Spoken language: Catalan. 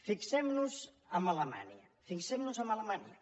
fixem nos en alemanya fixem nos en alemanya